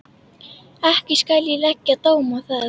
Ekki skal ég leggja dóm á það.